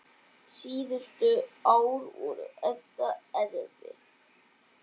Síðustu ár voru Edda erfið.